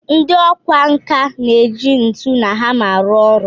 Ndị ọkwá nkà na-eji ntu na hama arụ ọrụ